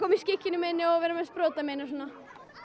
í skikkjunni minni og vera með sprotann minn og svona